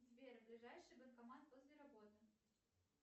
сбер ближайший банкомат возле работы